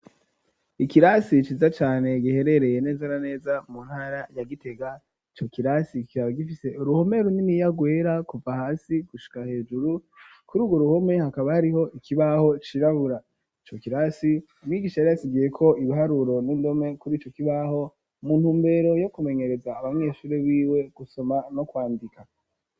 Ikirasi ciza cane giherereye neza na neza mu ntara ya Gitega ico kirasi kikaba gifise uruhome runini rwera kuva hasi gushika hejuru kururwo ruhome hakaba hariho ikibaho cirabura ico kirasi umwigisha yari yatubwiye ko ibiharuro n'indome kurico kibaho mu ntumbero yo kumenyereza abanyeshuri biwe gusoma no kwandika.